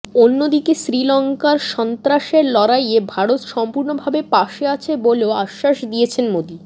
অন্যদিকে শ্রীলঙ্কার সন্ত্রাসের লড়াইয়ে ভারত সম্পূর্ণভাবে পাশে আছে বলেও আশ্বাস দিয়েছেন মোদি